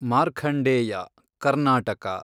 Markandeya, Karnataka